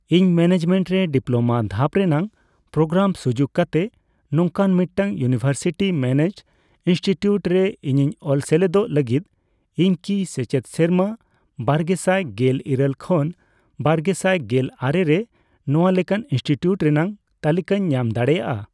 ᱤᱧ ᱢᱮᱱᱮᱡᱢᱮᱱᱴ ᱨᱮ ᱰᱤᱯᱞᱳᱢᱟ ᱫᱷᱟᱯ ᱨᱮᱱᱟᱜ ᱯᱨᱳᱜᱨᱟᱢ ᱥᱩᱡᱩᱠ ᱠᱟᱛᱮ ᱱᱚᱝᱠᱟᱱ ᱢᱤᱫᱴᱟᱝ ᱤᱭᱩᱱᱤᱵᱷᱨᱥᱤᱴᱤ ᱢᱮᱱᱮᱡᱰ ᱤᱱᱥᱴᱤᱴᱤᱭᱩᱴ ᱨᱮ ᱤᱧᱤᱧ ᱚᱞ ᱥᱮᱞᱮᱫᱚᱜ ᱞᱟᱹᱜᱤᱫ, ᱤᱧᱠᱤ ᱥᱮᱪᱮᱫ ᱥᱮᱨᱢᱟ ᱵᱟᱨᱜᱮᱥᱟᱭ ᱜᱮᱞ ᱤᱨᱟᱹᱞ ᱠᱷᱚᱱ ᱵᱨᱜᱮᱥᱟᱭ ᱜᱮᱞ ᱟᱨᱮ ᱨᱮ ᱱᱚᱣᱟ ᱞᱮᱠᱟᱱ ᱤᱱᱥᱴᱤᱴᱤᱭᱩᱴ ᱨᱮᱱᱟᱜ ᱛᱟᱞᱤᱠᱟᱧ ᱧᱟᱢ ᱫᱟᱲᱮᱭᱟᱜᱼᱟ ?